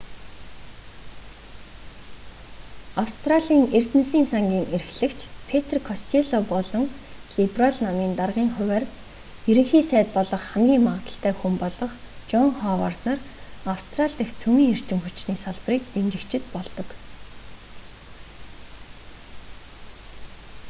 австралийн эрдэнэсийн сангийн эрхлэгч петр костелло болон либерал намын даргын хувиар ерөнхий сайд болох хамгийн магадлалтай хүн болох жон ховард нар австрали дахь цөмийн эрчим хүчний салбарыг дэмжигчид болдог